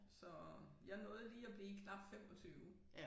Så jeg nåede lige at blive knap 25